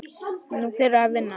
Nú er verk að vinna.